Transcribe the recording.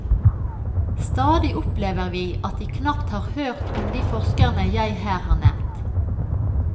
Stadig opplever vi at de knapt har hørt om de forskerne jeg her har nevnt.